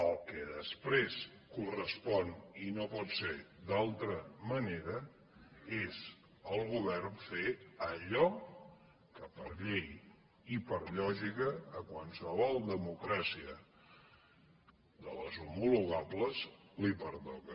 el que després correspon i no pot ser d’altra manera és el govern fer allò que per llei i per lògica a qualsevol democràcia de les homologables li pertoca